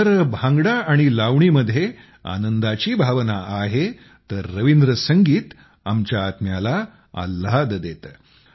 जर भांगडा आणि लावणीमध्ये आनंदाची भावना आहे तर रवींद्र संगीत आमच्या आत्म्याला आल्हाद देतं